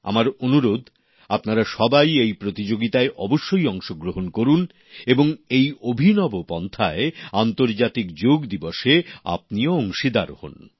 আমার অনুরোধ আপনারা সবাই এই প্রতিযোগিতায় অবশ্যই অংশগ্রহণ করুন এবং এই অভিনব পন্থায় আন্তর্জাতিক যোগ দিবসে আপনিও অংশীদার হোন